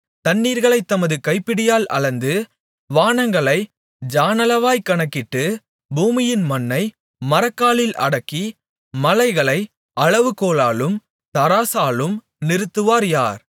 தண்ணீர்களைத் தமது கைப்பிடியால் அளந்து வானங்களை ஜாணளவாய்ப் கணக்கிட்டு பூமியின் மண்ணை மரக்காலில் அடக்கி மலைகளை அளவுகோலாலும் தராசாலும் நிறுத்தவர் யார்